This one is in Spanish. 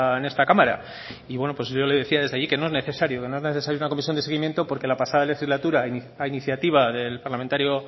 en esta cámara y bueno yo le decía desde allí que no es necesario que no es necesario una comisión de seguimiento porque la pasada legislatura a iniciativa del parlamentario